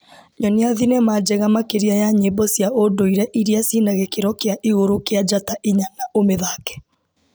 Nyonia thinema njega makĩria ya nyĩmbo cia ũndũire iria cina gĩkĩro kĩa igũrũ kĩa njata inya na ũmĩthake.